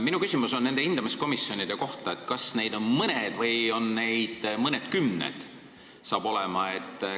Minu küsimus on nende hindamiskomisjonide kohta: kas neid saab olema mõni või saab neid olema mõnikümmend?